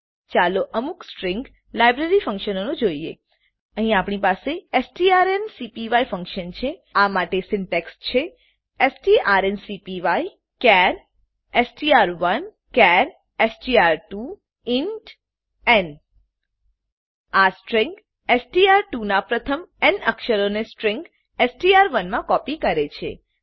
ચાલો અમુક string library ફંકશનો જોઈએ અહીં આપણી પાસે સ્ટ્રોન્કપાય ફંકશન છે આ માટે સીન્ટેક્ષ છે strncpyચાર એસટીઆર1 ચાર એસટીઆર2 ઇન્ટ ન આ સ્ટ્રીંગ એસટીઆર2 નાં પ્રથમ ન અક્ષરોને સ્ટ્રીંગ એસટીઆર1 માં કોપી કરે છે